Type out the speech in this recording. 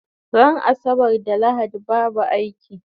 Ran asabar da lahadi babu aiki